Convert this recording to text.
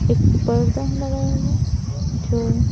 एक पर्दा है लगाया हुआ जो --